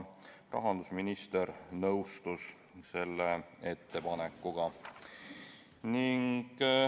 Rahandusminister nõustus selle ettepanekuga.